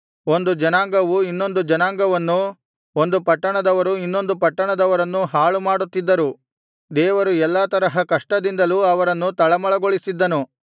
ಒಂದು ಜನಾಂಗವು ಇನ್ನೊಂದು ಜನಾಂಗವನ್ನೂ ಒಂದು ಪಟ್ಟಣದವರು ಇನ್ನೊಂದು ಪಟ್ಟಣದವರನ್ನೂ ಹಾಳು ಮಾಡುತ್ತಿದ್ದರು ದೇವರು ಎಲ್ಲಾ ತರಹ ಕಷ್ಟದಿಂದಲೂ ಅವರನ್ನು ತಳಮಳಗೊಳಿಸಿದ್ದನು